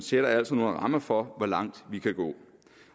sætter altså nogle rammer for hvor langt vi kan gå